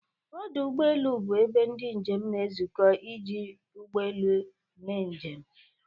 Ọdụ ụgbọ elu bụ ebe ndị njem na-ezukọ iji ụgbọ elu mee njem.